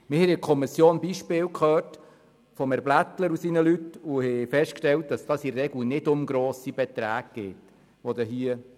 Wir hörten in der Kommission Beispiele von Polizeikommandant Blättler und haben festgestellt, dass es sich dabei in der Regel nicht um grosse Beträge handelt.